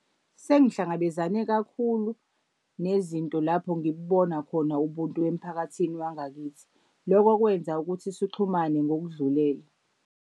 Sengikuhlangabezane kakhulu nezinto lapho ngikbona khona ubuntu emphakathini wangakithi. Loko kwenza ukuthi sixhumane ngokudlulele.